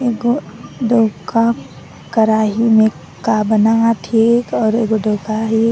एगो डोका कराही में का बनावथे और एगो डोका है।